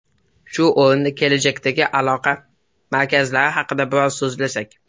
Shu o‘rinda kelajakdagi aloqa markazlari haqida biroz so‘zlasak.